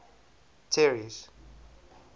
terry's